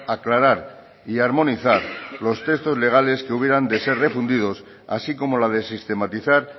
aclarar y armonizar los textos legales que hubieran de ser refundidos así como la de sistematizar